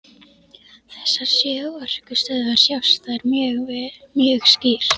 Þessar sjö orkustöðvar sjást þar mjög skýrt.